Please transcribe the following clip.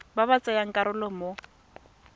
ba ba tsayang karolo mo